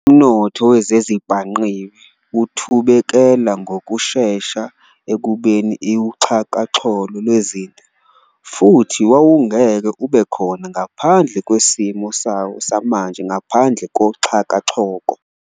Umnotho wezezibhangqiwe uthubekela ngokushesha ekubeni uxhakaxholo lwezinto, futhi wawungeke ube khona ngaphandle kwesimo sawo samanje ngaphandle koxhakaxholo.